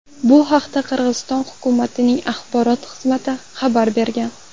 Bu haqda Qirg‘iziston hukumatining axborot xizmati xabar bergan .